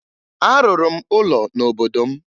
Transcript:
Arụrụ m ụlọ n'obodo m